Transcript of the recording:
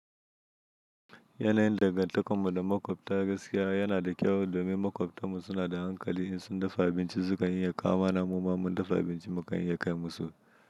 Yanayin dangantakarmu da maƙwabta gaskiya yana da kyau domin maƙwabtanmu suna da hankali in sun dafa abinci sukan iya kawo mana mumman dafa abinci mu kan iya kai musu.